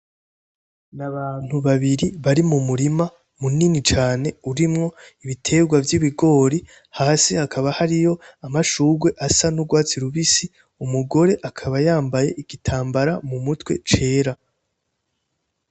Ni abantu babiri bari mu murima munini cane urimwo ibitegwa vy'ibigori, hasi hakaba hariyo amashugwe asa n'urwatsi rubisi. Umugore akaba yambaye igitambara mumutwe cera.